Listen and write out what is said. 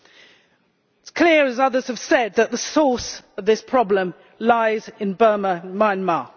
It is clear, as others have said, that the source of this problem lies in Burma Myanmar.